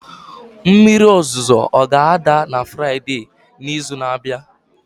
mmiri ozuzo ọ ga-ada na Fraịde n'izu na-abịa?